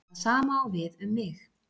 Það sama á við um mig.